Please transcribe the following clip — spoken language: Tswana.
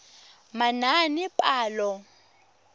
manaanepalo